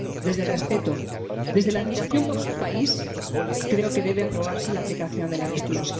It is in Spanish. Desde el respeto, desde la admiración por su país, creo que debe aprobarse la aplicación del artículo